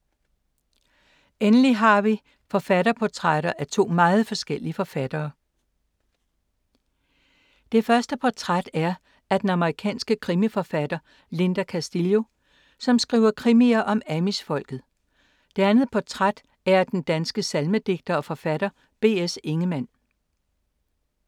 Endelig har vi forfatterportrætter af to meget forskellige forfattere. Det første portræt er af den amerikanske krimiforfatter Linda Castillo, som skriver krimier om amish-folket. Det andet portræt er af den danske salmedigter og forfatter B. S. Ingemann.